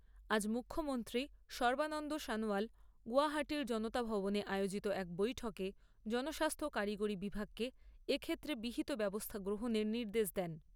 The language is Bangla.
আজ মুখ্যমন্ত্রী সর্বানন্দ সনোয়াল গৌহাটীর জনতা ভবনে আয়োজিত এক বৈঠকে জনস্বাস্থ্য কারিগরী বিভাগকে এক্ষেত্রে বিহিত ব্যবস্থা গ্রহণের নির্দেশ দেন।